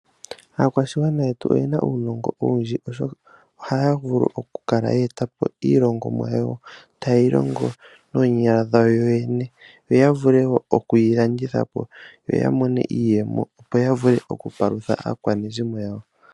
Aakwashigwana yetu oyena uunongo owundji oshoka ohaya vulu oku kala yeetapo iihongomwa oyindji ta yeyi longo noonyala dhawo. Ohaye yi landitha po ya mone iiyemo yapaluthe aakwanezimo yawo.